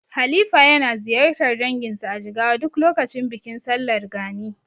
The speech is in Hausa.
Halifa yana ziyartar danginsa a Jigawa duk lokacin bikin sallar Gani.